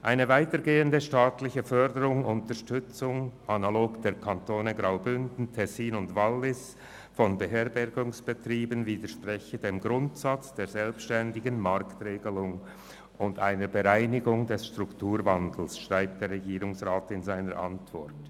Eine weitergehende staatliche Förderung und Unterstützung von Beherbergungsbetrieben analog zu den Kantonen Graubünden, Tessin und Wallis widerspreche dem Grundsatz der selbstständigen Marktregelung und einer Bereinigung durch den Strukturwandel, schreibt der Regierungsrat in seiner Antwort.